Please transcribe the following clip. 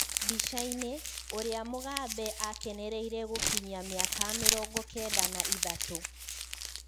Bica-ini: ũria Mugabe akenereire gũkinyia miaka mĩrongo kenda na ithatũ.